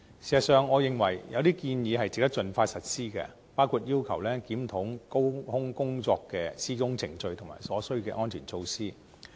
事實上，我認為有些建議值得盡快實施，包括要求檢討高空工作的施工程序和所需的安全措施。